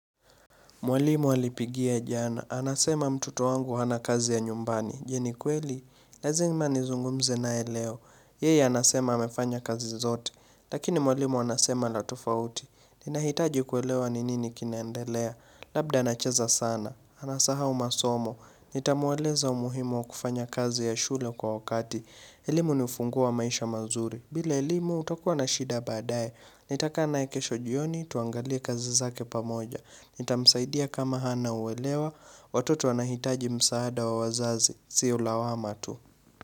Mwalimu alipigia jana. Anasema mtoto wangu hana kazi ya nyumbani. Je ni kweli? Lazima nizungumze naye leo. Yeye anasema amefanya kazi zote. Lakini mwalimu anasema la tofauti. Ninahitaji kuelewa ni nini kinaendelea. Labda anacheza sana. Anasahau masomo. Nitamweleza umuhimu wa kufanya kazi ya shule kwa wakati. Elimu ni ufunguo wa maisha mazuri. Bila elimu utakuwa na shida baadaye. Nitakaa naye kesho jioni tuangalie kazi zake pamoja. Nitamsaidia kama hana uelewa Watoto wanahitaji msaada wa wazazi Sio lawama tu.